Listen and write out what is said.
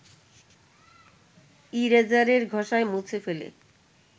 ইরেজারের ঘষায় মুছে ফেলে